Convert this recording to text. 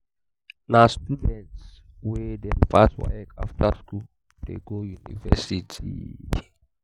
na student dem wey pass waec after skool dey go university.